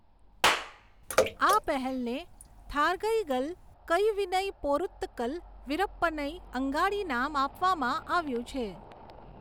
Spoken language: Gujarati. આ પહેલને થારગઈગલ કઇવિનઈ પોરુત્તકલ વિરપ્પનઈ અંગાડી નામ આપવામાં આવ્યું છે.